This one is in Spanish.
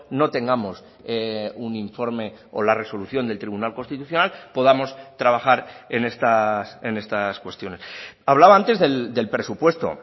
no tengamos un informe o la resolución del tribunal constitucional podamos trabajar en estas cuestiones hablaba antes del presupuesto